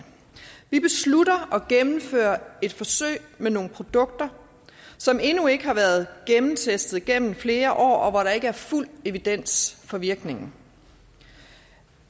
vi beslutter at gennemføre et forsøg med nogle produkter som endnu ikke har været gennemtestet gennem flere år og hvor der ikke er fuld evidens for virkningen